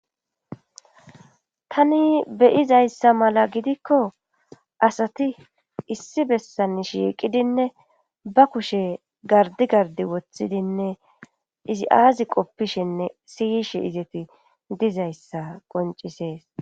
tani beyizayssa mala gidikko asati issi bessan shiiqidinne ba kushe gardi gardi wothidinne izi aazi qoppishinne siyishe izeti dizayssa qoncisees